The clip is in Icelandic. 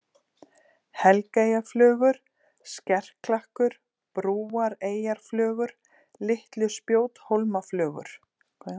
Helgeyjarflögur, Skerklakkur, Brúareyjaflögur, Litlu-Spjóthólmaflögur